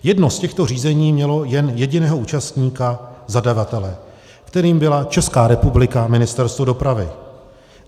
Jedno z těchto řízení mělo jen jediného účastníka, zadavatele, kterým byla Česká republika, Ministerstvo dopravy.